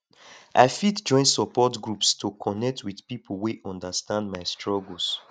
i fit join support groups to connect with pipo wey understand my struggles